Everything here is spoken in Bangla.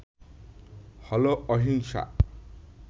হল অহিংসা